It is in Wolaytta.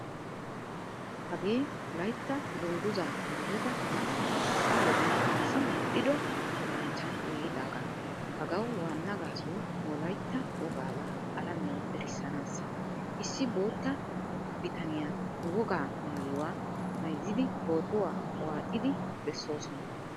Hagee wolaytta dungguzza maayida na"a hai wodiyan assi medhdhido luxanchchan giigidaga. Hagaawu wanna gaasoy wolaytta wogaaba alamiyawu erissanasa. Issi bootta biittaniyaa nu wogaa maayuwaa mayzzidi pootuwaa waaxidi besosona.